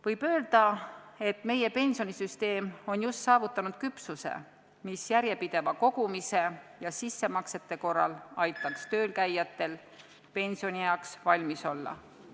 Võib öelda, et meie pensionisüsteem on just saavutanud küpsuse, mis järjepideva kogumise ja sissemaksete tegemise korral aitaks töölkäijatel pensionieaks valmis olla.